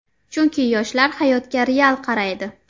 Chunki yoshlar hayotga real qaraydi.